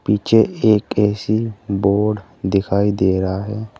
पीछे एक AC board दिखाई दे रहा है।